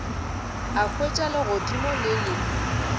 a hwetša legodimo le le